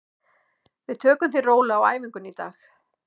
Við tökum því rólega á æfingunni í dag.